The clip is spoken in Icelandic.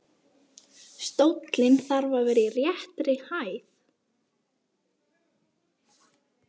Stóllinn þarf að vera í réttri hæð.